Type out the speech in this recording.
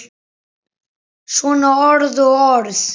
Svona orð og orð.